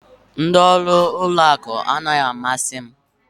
Ndị ọrụ ụlọ akụ anaghị amasị m